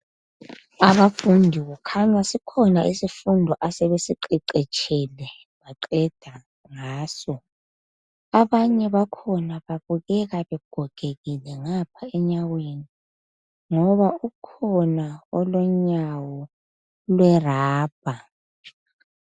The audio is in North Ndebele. Abafundi kukhanya sikhona isifundo asebesi qeqetshele baqeda ngaso abanye bakhona babukeka begogekile ngapha enyaweni ngoba ukhona olonyawo lwe rubber.